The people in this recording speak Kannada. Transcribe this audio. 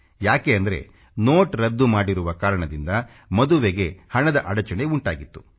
ಯಾಕೆ ಅಂದ್ರೆ ನೋಟ್ ರದ್ದು ಮಾಡಿರುವ ಕಾರಣದಿಂದ ಮದುವೆಗೆ ಹಣದ ಅಡಚಣೆ ಉಂಟಾಗಿತ್ತು